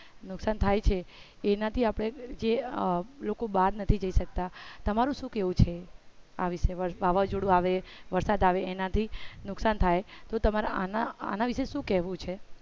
નુકસાન થાય છે એના થી અપડે જે લોકો બાર નથી જઈ સકતા તમારું શું કેવું છે આ વિષે વાવાજોડું આવે વરસાદ આવે એનાથી નુકસાન થાય તો તમારે આના વિષે શું કેવું છે.